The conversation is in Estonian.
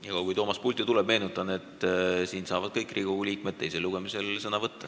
Niikaua, kui Toomas pulti tuleb, meenutan, et kõik Riigikogu liikmed saavad teisel lugemisel sõna võtta.